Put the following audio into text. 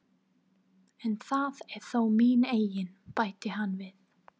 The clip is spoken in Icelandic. En það er þó mín eign, bætti hann við.